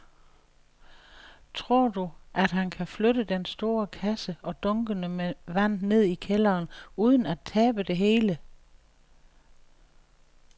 Tror du, at han kan flytte den store kasse og dunkene med vand ned i kælderen uden at tabe det hele?